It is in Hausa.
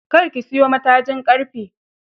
Kar ki siyo matajin ƙarfe.